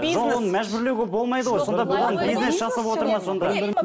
жоқ оны мәжбүрлеуге болмайды ғой сонда бұған бизнес жасап отыр ма сонда